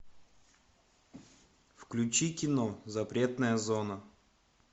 включи кино запретная зона